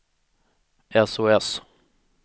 sos